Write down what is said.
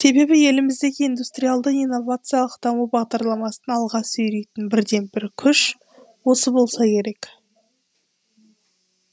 себебі еліміздегі индустриалды инновациялық даму бағдарламасын алға сүйрейтін бірден бір күш осы болса керек